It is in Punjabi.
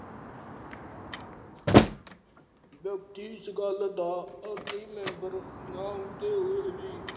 ਵਿਅਕਤੀ ਇਸ ਗੱਲ ਦਾ ਆਰਥਿਕ member ਨਾ ਹੁੰਦੇ ਹੋਏ ਵੀ